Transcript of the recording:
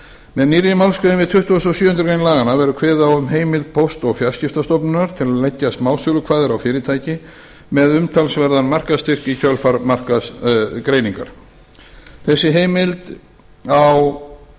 með nýrri málsgrein við tuttugustu og sjöundu grein laganna verður kveðið á um heimild póst og fjarskiptastofnunar til að leggja smásölukvaðir á fyrirtæki með umtalsverðan markaðsstyrk í kjölfar markaðsgreiningar